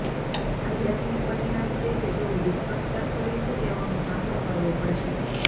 આધ્યાત્મિક પરિણામ છે કે જેઓ વિશ્વાસઘાત કરે છે તેઓનો સામનો કરવો પડશે